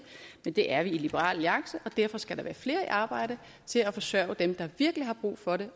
men det er vi i liberal alliance og derfor skal der være flere i arbejde til at forsørge dem der virkelig har brug for det